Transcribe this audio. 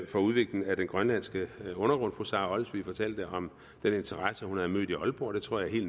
til udvikling af den grønlandske undergrund fru sara olsvig fortalte om den interesse hun havde mødt i aalborg det tror jeg